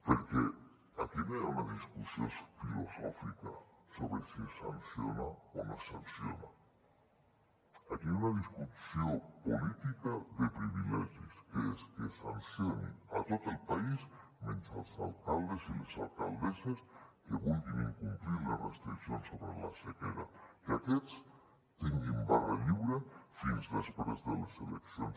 perquè aquí no hi ha una discussió filosòfica sobre si es sanciona o no es sanciona aquí hi ha una discussió política de privilegis que és que es sancioni a tot el país menys als alcaldes i les alcaldesses que vulguin incomplir les restriccions sobre la sequera que aquests tinguin barra lliure fins després de les eleccions